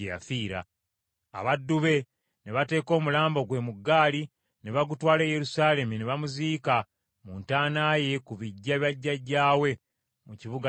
Abaddu be ne bateeka omulambo gwe mu ggaali ne bagutwala e Yerusaalemi, ne bamuziika mu ntaana ye ku biggya bya bajjajjaabe mu kibuga kya Dawudi.